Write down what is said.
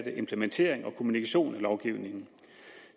implementering og kommunikation af lovgivningen